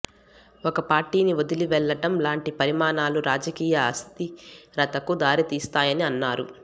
ఒక పార్టీని వదిలివెళ్ళటం లాంటి పరిణామాలు రాజకీయ అస్థిరతకు దారితీస్తాయని అన్నారు